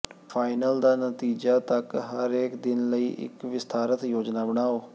final ਦਾ ਨਤੀਜਾ ਤਕ ਹਰੇਕ ਦਿਨ ਲਈ ਇੱਕ ਵਿਸਥਾਰਤ ਯੋਜਨਾ ਬਣਾਓ